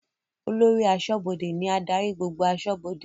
Olórí aṣọ́bọdè ní adarí gbogbo aṣọ́bọdè